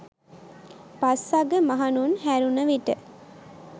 පස්වග මහණුන් හැරුණ විට